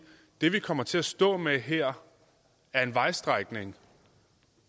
det vi kommer til at stå med her er en vejstrækning